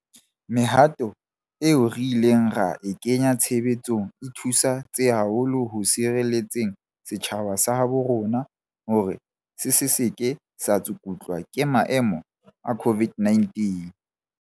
Mehato eo re ileng ra e kenya tshebetsong e thusi tse haholo ho sireletseng setjhaba sa habo rona hore se se ke sa tsukutlwa ke maemo a COVID-19.